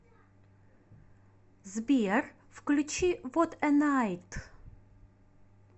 сбер включи вот э найт